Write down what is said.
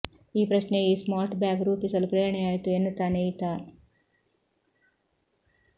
ಈ ಪ್ರಶ್ನೆಯೇ ಈ ಸ್ಮಾರ್ಟ್ ಬ್ಯಾಗ್ ರೂಪಿಸಲು ಪ್ರೇರಣೆಯಾಯಿತು ಎನ್ನುತ್ತಾನೆ ಈತ